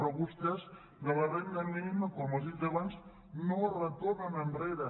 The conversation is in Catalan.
però vostès de la renda mínima com ha dit abans no es retornen enrere